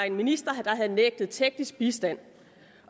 en minister der havde nægtet teknisk bistand